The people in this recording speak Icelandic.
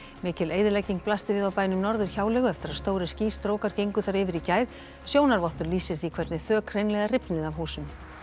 mikil eyðilegging blasti við á bænum Norðurhjáleigu eftir að stórir skýstrókar gengu þar yfir í gær sjónarvottur lýsir því hvernig þök hreinlega rifnuðu af húsum